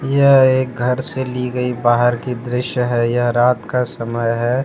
यह एक घर से ली गई बाहर की दृश्य है यह रात का समय है।